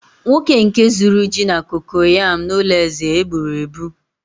nwoke nke zuru ji na kokoyam n'ulo eze eb͕uru eb͕u